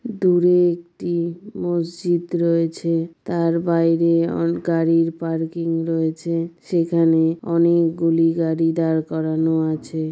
দূরে একটি মসজিদ রয়েছে তার বাইরে অ গাড়ির পার্কিং রয়েছে সেখানে অনেকগুলি গাড়ি দাঁড় করানো আছে।